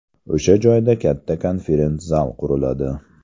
O‘sha joyda katta konferens-zal quriladi.